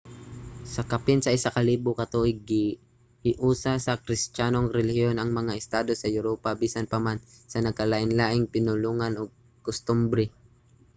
sa kapin sa isa ka libo ka tuig gihiusa sa kristiyanong relihiyon ang mga estado sa uropa bisan pa man sa nagkalainlaing mga pinulongan ug kostumbre